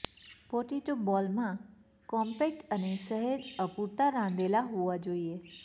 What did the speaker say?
potato બોલમાં compact અને સહેજ અપૂરતા રાંધેલા હોવા જોઈએ